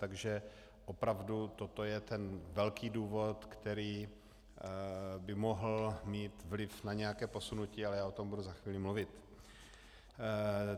Takže opravdu toto je ten velký důvod, který by mohl mít vliv na nějaké posunutí, ale já o tom budu za chvíli mluvit.